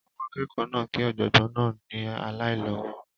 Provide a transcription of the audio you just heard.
àwọn akẹ́kọ̀ọ́ náà kí Ọ̀jọ̀gbọ́n náà ni aláìlọ́wọ̀